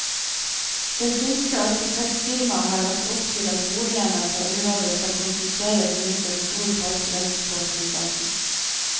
Det finske arkitektfirmaet har lagt opp til at boligene på området skal konsentreres rundt en stor park vest på flyplassen.